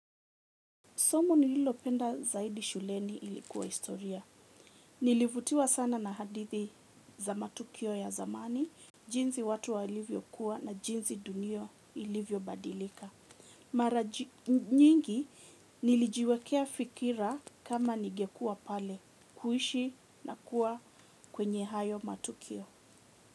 Somo nililopenda zaidi shuleni ilikuwa historia. Nilivutiwa sana na hadithi za matukio ya zamani. Jinsi watu walivyo kuwa na jinsi dunia ilivyo badilika. Mara nyingi nilijiwekea fikira kama nigekuwa pale. Kuishi na kuwa kwenye hayo matukio.